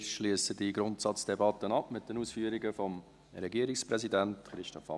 Wir schliessen diese Grundsatzdebatte mit den Ausführungen des Regierungspräsidenten ab.